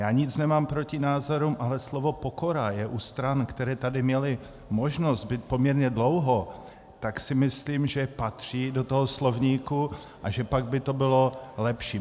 Já nic nemám proti názorům, ale slovo pokora je u stran, které tady měly možnost být poměrně dlouho, tak si myslím, že patří do toho slovníku a že pak by to bylo lepší.